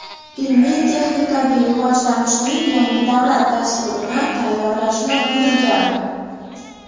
ilmiy-texnikaviy rivojlanishning yangi davlat dasturini tayyorlashni buyurgan.